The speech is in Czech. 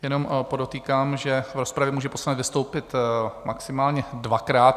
Jenom podotýkám, že v rozpravě může poslanec vystoupit maximálně dvakrát.